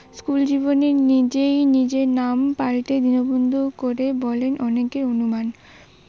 school জীবনে নিজেই নিজের নাম পাল্টে দীন বন্ধু করে, বলে অনেকর অনুমান